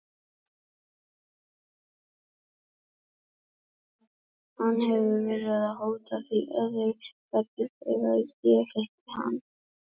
Hann hefur verið að hóta því öðru hverju þegar ég hitti hann.